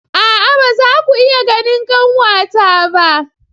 A'a ba za ku iya ganin kanwata ba.